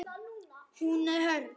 Hún er hörð.